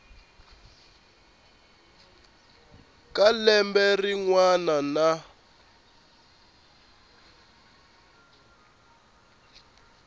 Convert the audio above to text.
ka lembe rin wana na